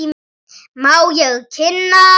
Má ég kynna.